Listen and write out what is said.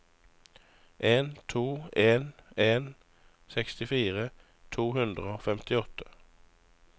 en to en en sekstifire to hundre og femtiåtte